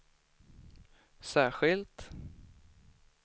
särskilt